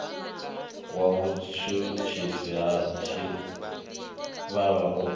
wa vhutshutshisi ha tshitshavha u